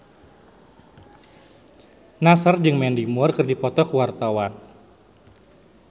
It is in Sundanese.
Nassar jeung Mandy Moore keur dipoto ku wartawan